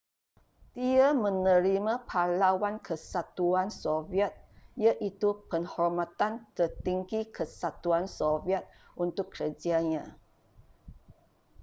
dia menerima pahlawan kesatuan soviet iaitu penghormatan tertinggi kesatuan soviet untuk kerjanya